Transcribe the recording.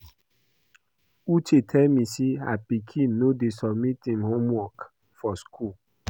Uche tell me say her pikin no dey submit im homework for school